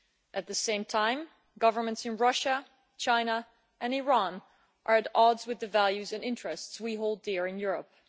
At the same time, governments in Russia, China and Iran are at odds with the values and interests we hold dear in Europe.